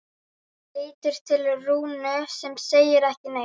Lítur til Rúnu sem segir ekki neitt.